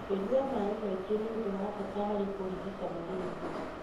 Kũnya maĩ maingĩ nĩũndũ wa bata harĩ kũrigita malaria.